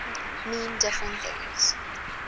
mean different things